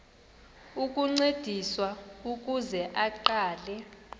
ukuncediswa ukuze aqale